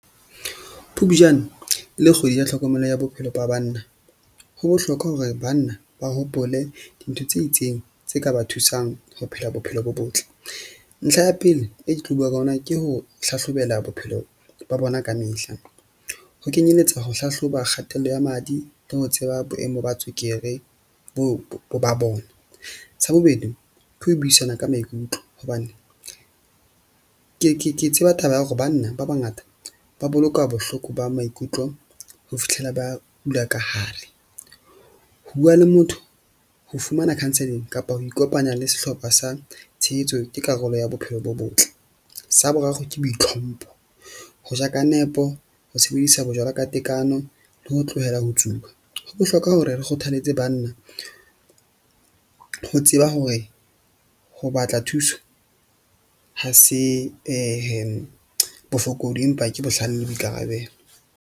Phupjane le kgwedi ya tlhokomelo ya bophelo ba banna, ho bohlokwa hore banna ba hopole dintho tse itseng tse ka ba thusang ho phela bophelo bo botle. Ntlha ya pele e ke tlo bua ka ona, ke ho hlahlobela bophelo ba bona kamehla, ho kenyeletsa ho hlahloba kgatello ya madi le ho tseba boemo ba tswekere bo ba bona. Sa bobedi ke ho buisana ka maikutlo hobane ke tseba taba ya hore banna ba bangata ba boloka bohloko ba maikutlo ho fihlela ba kula ka hare. Bua le motho, ho fumana counselling kapa ho ikopanya le sehlopha sa tshehetso ke karolo ya bophelo bo botle. Sa boraro ke boitlhompho ho ja ka nepo, ho sebedisa bojwala ka tekano le ho tlohela ho tsuba. Ho bohlokwa hore re kgothaletse bana ho tseba hore ho batla thuso. Ha se bofokodi, empa ke bohlale le boikarabelo.